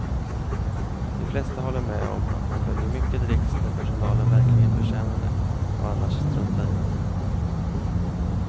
De flesta håller med om att man bör ge mycket dricks när personalen verkligen förtjänar det och annars strunta i det.